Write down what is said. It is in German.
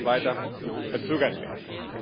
sie sollte nicht weiter verzögert werden.